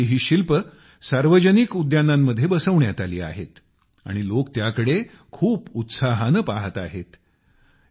त्यांनी बनवलेली ही भव्य शिल्पे सार्वजनिक उद्यानांमध्ये बसवण्यात आली आहेत आणि लोक त्याकडे खूप उत्साहाने पाहत आहेत